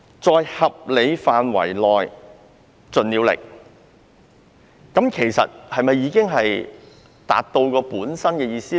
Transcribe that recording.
"在合理範圍內盡了力"是否已經能夠表達本身的意思？